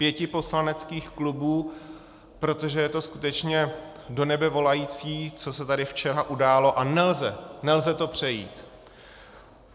- pěti poslaneckých klubů, protože je to skutečně do nebe volající, co se tady včera událo, a nelze, nelze to přejít.